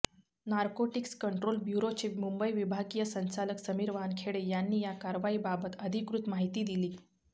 narcotics control ब्युरोचे मुंबई विभागीय संचालक समीर वानखेडे यांनी या कारवाईबाबत अधिकृत माहिती दिली